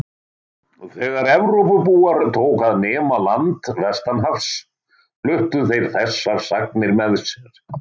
Þegar Evrópubúar tóku að nema land vestanhafs fluttu þeir þessar sagnir með sér.